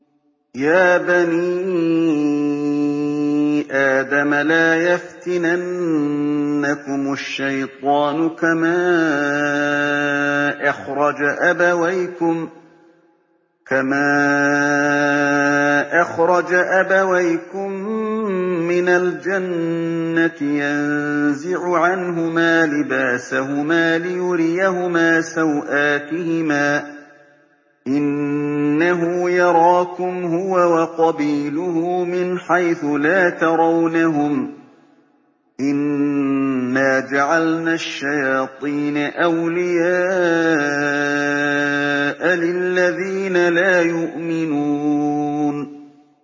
يَا بَنِي آدَمَ لَا يَفْتِنَنَّكُمُ الشَّيْطَانُ كَمَا أَخْرَجَ أَبَوَيْكُم مِّنَ الْجَنَّةِ يَنزِعُ عَنْهُمَا لِبَاسَهُمَا لِيُرِيَهُمَا سَوْآتِهِمَا ۗ إِنَّهُ يَرَاكُمْ هُوَ وَقَبِيلُهُ مِنْ حَيْثُ لَا تَرَوْنَهُمْ ۗ إِنَّا جَعَلْنَا الشَّيَاطِينَ أَوْلِيَاءَ لِلَّذِينَ لَا يُؤْمِنُونَ